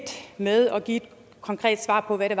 med at give et konkret svar på hvad det